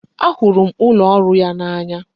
A hụrụ m ụlọ ọrụ ya n'anya